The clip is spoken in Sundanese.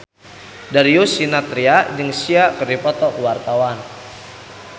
Darius Sinathrya jeung Sia keur dipoto ku wartawan